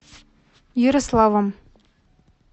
ярославом